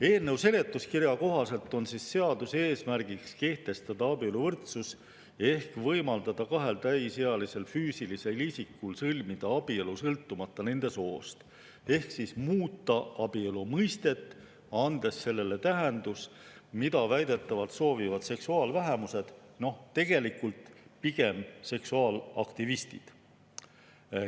Eelnõu seletuskirja kohaselt on seaduse eesmärk kehtestada abieluvõrdsus ehk võimaldada kahel täisealisel füüsilisel isikul sõlmida abielu, sõltumata nende soost, ehk muuta abielu mõistet, andes sellele tähenduse, mida väidetavalt soovivad seksuaalvähemused, tegelikult pigem seksuaalaktivistid.